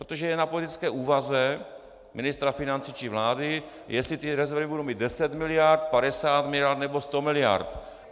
Protože je na politické úvaze ministra financí či vlády, jestli ty rezervy budou mít 10 miliard, 50 miliard nebo 100 miliard.